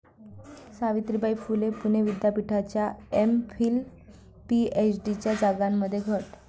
सावित्रीबाई फुले पुणे विद्यापीठाच्या एम.फिल, पी.एच.डीच्या जागांमध्ये घट